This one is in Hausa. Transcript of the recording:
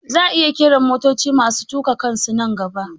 Za'a iya ƙera motoci masu tuƙa kansu nan gaba